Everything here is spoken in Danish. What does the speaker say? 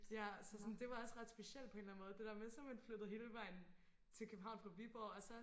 ja så sådan det var også ret specielt på en eller anden måde det der med så er man flyttet hele vejen til København fra Viborg og så